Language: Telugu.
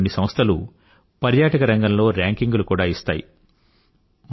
ప్రపంచంలోని కొన్ని సంస్థలు పర్యాటక రంగంలో రేంకింగ్ లు కూడా ఇస్తాయి